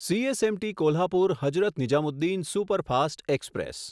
CSMT Kolhapur Hazrat Nizamuddin superfast express